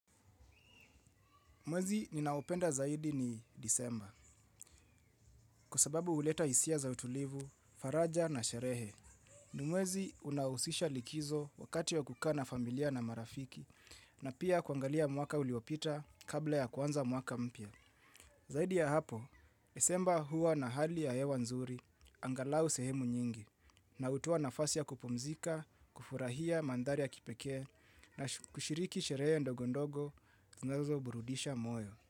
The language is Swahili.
Mwezi ninaopenda zaidi ni disemba, kwa sababu huleta hisia za utulivu, faraja na sherehe. Ni mwezi unaohusisha likizo wakati ya kukaa na familia na marafiki, na pia kuangalia mwaka uliopita kabla ya kuanza mwaka mpya. Zaidi ya hapo, desemba huwa na hali ya hewa nzuri, angalau sehemu nyingi, na hutoa nafasi ya kupumzika, kufurahia mandhari ya kipekee, na kushiriki sherehe ndogondogo, zinazo burudisha moyo.